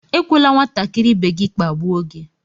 Ekwela nwatakịrị ibe gị kpagbuo gị!